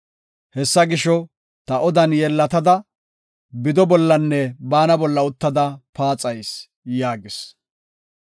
Hessa gisho, ta odan yellatada, bido bollanne baana bolla uttada paaxayis” yaagis.